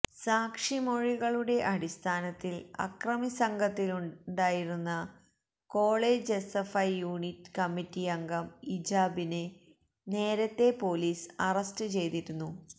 സാക്ഷിമൊഴികളുടെ അടിസ്ഥാനത്തില് അക്രമിസംഘത്തിലുണ്ടായിരുന്ന college S F I unit committee അംഗം ഇജാബിനെ നേരത്തെ പോലീസ് അറസ്റ്റ് ചെയ്തിരുന്നു